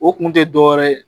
O kun tɛ dɔ wɛrɛ ye